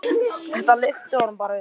Þetta lyfti honum bara upp.